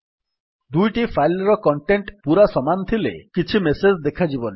ଦୁଇଟି ଫାଇଲ୍ ର କଣ୍ଟେଣ୍ଟ୍ ପୂରା ସମାନ ଥିଲେ କିଛି ମେସେଜ୍ ଦେଖାଯିବନି